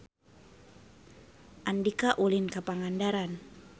Andika ulin ka Pangandaran